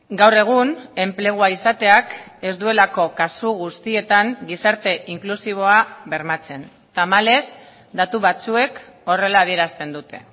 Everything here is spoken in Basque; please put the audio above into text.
gaur egun enplegua izateak ez duelako kasu guztietan gizarte inklusiboa bermatzen tamalez datu batzuek horrela adierazten dute